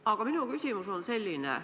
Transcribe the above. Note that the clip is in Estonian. Aga minu küsimus on selline.